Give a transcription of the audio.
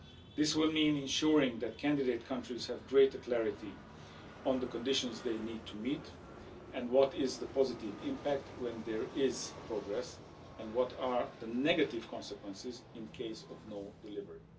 This will mean ensuring that candidate countries have greater clarity on the conditions they need to meet and what is the positive impact when there is progress, and what are the negative consequences in case of non delivery.